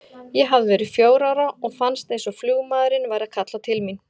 Ég hafði verið fjögurra ára og fannst eins og flugmaðurinn væri að kalla til mín.